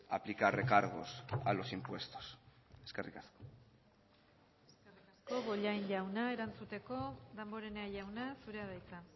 aplicar recargos a los impuestos eskerrik asko eskerrik asko bollain jauna erantzuteko damborenea jauna zurea da hitza